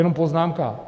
Jenom poznámka.